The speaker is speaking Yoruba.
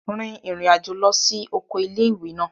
Rin ìrìn àjò lọ sí oko ilé-ìwé náà